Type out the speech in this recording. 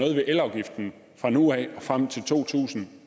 ved elafgiften fra nu af og frem til to tusind